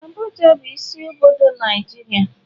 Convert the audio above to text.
Abuja bu isi obodo Naijiria.